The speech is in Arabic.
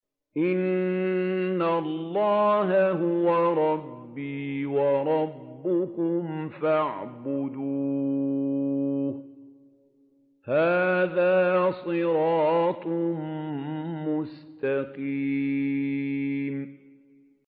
إِنَّ اللَّهَ هُوَ رَبِّي وَرَبُّكُمْ فَاعْبُدُوهُ ۚ هَٰذَا صِرَاطٌ مُّسْتَقِيمٌ